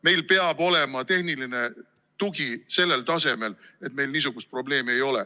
Meil peab olema tehniline tugi sellel tasemel, et meil niisugust probleemi ei ole.